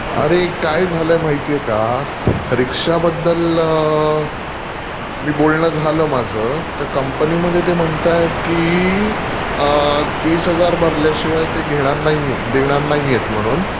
अरे काय झालयं माहितेय का ..रिक्षाबद्दल म्हणजे बोलणं झालं माझं तर कंपनीमध्ये ते म्हणतायतं की तीस हजार भरल्याशिवाय ते घेणार नाहीयेत, देणार नाहियेत म्हणून.